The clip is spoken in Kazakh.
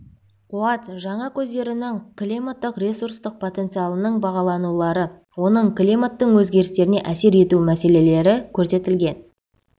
қуат жаңа көздерінің климаттық ресурстық потенциалының бағаланулары оның климаттың өзгерістеріне әсер ету мәселелері көрсетілген